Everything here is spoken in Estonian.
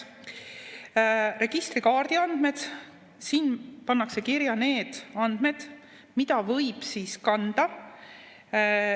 registrikaardi andmed – siin pannakse kirja need andmed, mida võib sinna kanda.